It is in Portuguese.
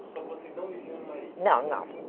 Só que vocês não viviam em Marília. Não, não